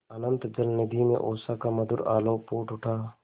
अनंत जलनिधि में उषा का मधुर आलोक फूट उठा